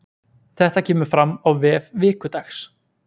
Þetta kemur fram á vef Vikudags